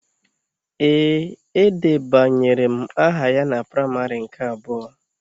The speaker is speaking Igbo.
Ee, edebanyere m aha ya na praimarị nke abụọ